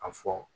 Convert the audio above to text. A fɔ